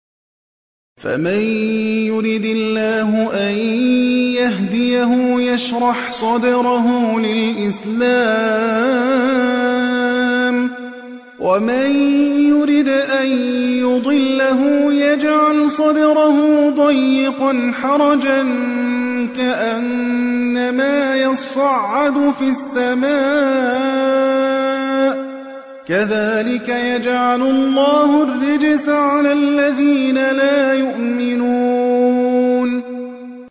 فَمَن يُرِدِ اللَّهُ أَن يَهْدِيَهُ يَشْرَحْ صَدْرَهُ لِلْإِسْلَامِ ۖ وَمَن يُرِدْ أَن يُضِلَّهُ يَجْعَلْ صَدْرَهُ ضَيِّقًا حَرَجًا كَأَنَّمَا يَصَّعَّدُ فِي السَّمَاءِ ۚ كَذَٰلِكَ يَجْعَلُ اللَّهُ الرِّجْسَ عَلَى الَّذِينَ لَا يُؤْمِنُونَ